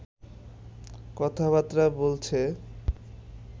কথা-বার্তা বলছে